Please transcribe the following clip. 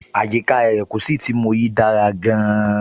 Àyíká erékùṣù tí mo yìí dára gan-an.